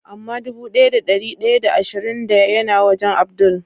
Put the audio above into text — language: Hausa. Ama dubu daya da dari daya da ashirin da ya na wajen Abdul?